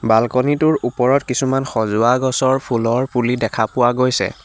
Balcony টোৰ ওপৰত কিছুমান সজোৱা গছৰ পুলি দেখা পোৱা গৈছে।